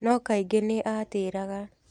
No kaingĩ nĩ aatĩraga.